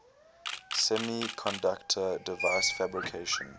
semiconductor device fabrication